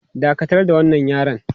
Dakatar da wannan yaren!